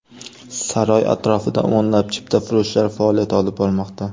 Saroy atrofida o‘nlab chiptafurushlar faoliyat olib bormoqda.